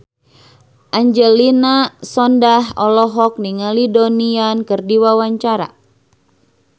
Angelina Sondakh olohok ningali Donnie Yan keur diwawancara